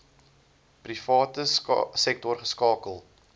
private sektor geskakel